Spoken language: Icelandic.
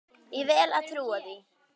Ég vel að trúa því.